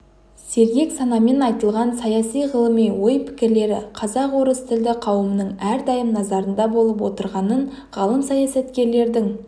сергек санамен айтылған саяси ғылыми ой-пікірлері қазақ орыс тілді қауымның әрдайым назарында болып отырғанын ғалым-саясаткердің